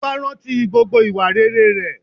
Ọba rántí gbogbo ìwà rere rẹ̀